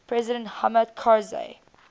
president hamid karzai